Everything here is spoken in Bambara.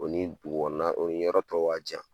O ni dugu kɔnɔna,o ni yɔrɔ tɔw ka jan.